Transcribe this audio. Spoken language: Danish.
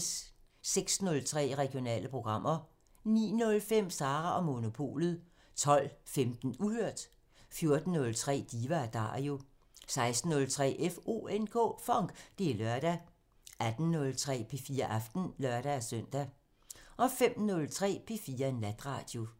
06:03: Regionale programmer 09:05: Sara & Monopolet 12:15: Uhørt 14:03: Diva & Dario 16:03: FONK! Det er lørdag 18:03: P4 Aften (lør-søn) 05:03: P4 Natradio